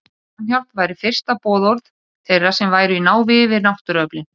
Samhjálp væri fyrsta boðorð þeirra sem væru í návígi við náttúruöflin.